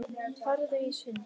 Farðu í sund.